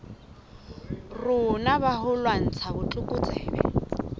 rona ba ho lwantsha botlokotsebe